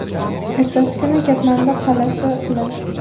Ertasi kuni Katmandu qal’asi quladi.